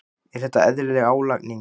Er þetta eðlileg álagning?